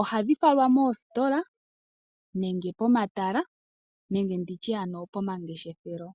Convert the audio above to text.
ohadhi falwa moostola nenge pomatala nenge nditye ano pomangeshefelo.